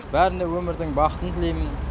бәріне өмірдің бақытын тілеймін